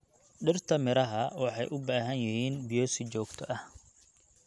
Dhirta miraha waxay u baahan yihiin biyo si joogto ah.